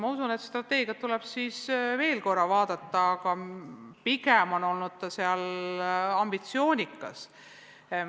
Ma usun, et strateegia tuleb veel korra üle vaadata, aga pigem on see olnud ambitsioonikas.